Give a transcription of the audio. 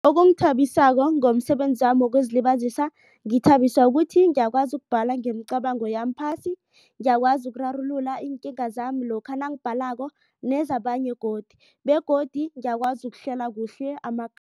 Okungithabisako ngomsebenzami wokuzilibazisa ngithabiswa ukuthi ngiyakwazi ukubhala ngemicabango yami phasi. Ngiyakwazi ukurarulula iinkinga zami lokha nangibhalako begodu ngiyakwazi ukuhlela kuhle